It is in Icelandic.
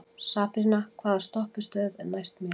Sabrína, hvaða stoppistöð er næst mér?